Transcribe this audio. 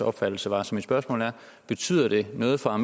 opfattelse var så mit spørgsmål er betyder det noget for